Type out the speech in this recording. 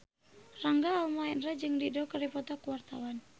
Rangga Almahendra jeung Dido keur dipoto ku wartawan